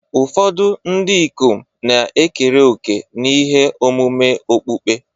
Ụfọdụ ndị ikom na-ekere òkè n'ihe omume okpukpe.